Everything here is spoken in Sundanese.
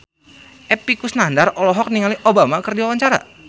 Epy Kusnandar olohok ningali Obama keur diwawancara